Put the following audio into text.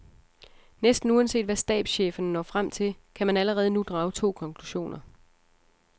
Næsten uanset hvad stabscheferne når frem til, kan man allerede nu drage to konklusioner.